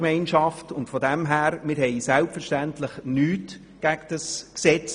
Deshalb haben wir selbstverständlich nichts gegen dieses Gesetz.